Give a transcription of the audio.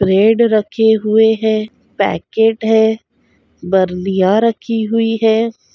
Bread रखे हुए हैं पैकेट हैं बर्निया रखी हुई हैं।